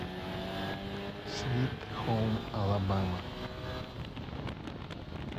свит хоум алабама